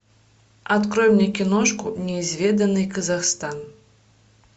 открой мне киношку неизведанный казахстан